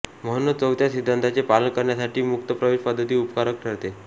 म्हणूनच चौथ्या सिद्धांताचे पालन करण्यासाठी मुक्त प्रवेश पद्धती उपकारक ठरते